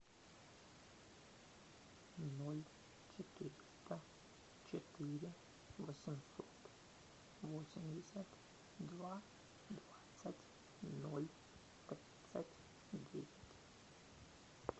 ноль четыреста четыре восемьсот восемьдесят два двадцать ноль тридцать девять